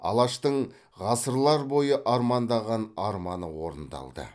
алаштың ғасырлар бойы армандаған арманы орындалды